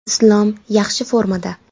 Islom yaxshi formada.